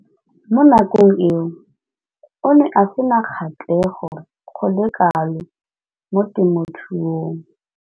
Mo nakong eo o ne a sena kgatlhego go le kalo mo temothuong.